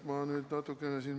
Ma nüüd natukene siin ...